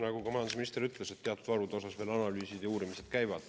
Nagu ka majandusminister ütles, teatud varude osas veel analüüsid ja uurimised käivad.